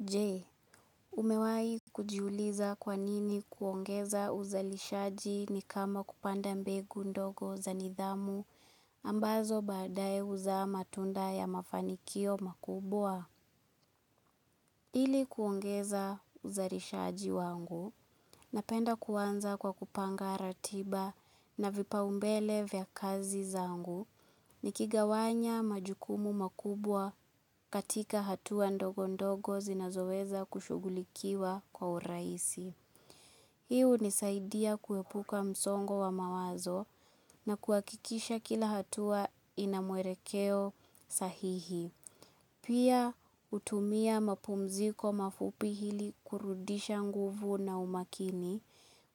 Je, umewahi kujiuliza kwa nini kuongeza uzalishaji ni kama kupanda mbegu ndogo za nidhamu ambazo baadaye huzaa matunda ya mafanikio makubwa? Ili kuongeza uzalishaji wangu, napenda kuanza kwa kupanga ratiba na vipaumbele vya kazi zangu nikigawanya majukumu makubwa katika hatua ndogo ndogo zinazoweza kushughulikiwa kwa urahisi. Hii hunisaidia kuepuka msongo wa mawazo na kuhakikisha kila hatua ina mwelekeo sahihi. Pia, hutumia mapumziko mafupi ili kurudisha nguvu na umakini